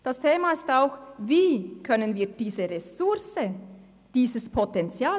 Ein Thema ist auch, wie wir diese Ressource besser nutzen können.